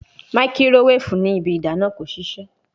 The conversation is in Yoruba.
Makirowefu ni ibi idana ko sise